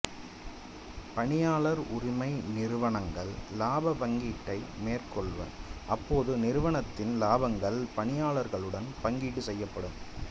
பணியாளர் உரிமை நிறுவனங்கள் இலாப பங்கீட்டை மேற்கொள்வர் அப்போது நிறுவனத்தின் இலாபங்கள் பணியாளர்களுடன் பங்கீடு செய்யப்படும்